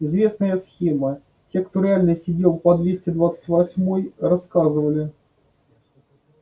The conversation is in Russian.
известная схема те кто реально сидел по двести двадцать восьмой рассказывали